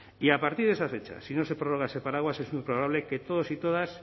y a partir de esa fecha si no se prorroga ese paraguas es muy probable que todos y todas